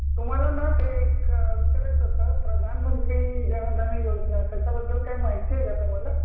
तुम्हाला ना ते एक विचारायचं होत प्रधानमंत्री जनधन योजना त्याचा बद्दल काही माहिती आहे का तुम्हाला